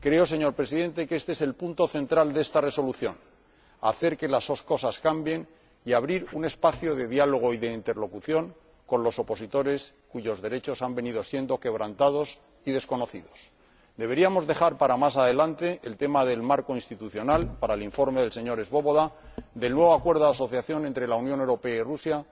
Señor Presidente, creo que este es el punto central de esta Resolución hacer que las cosas cambien y abrir un espacio de diálogo y de interlocución con los opositores cuyos derechos han venido siendo quebrantados y desconocidos. Deberíamos dejar para más adelante, para el informe del señor Swoboda, el tema del marco institucional, del nuevo Acuerdo de Asociación entre la Unión Europea y Rusia,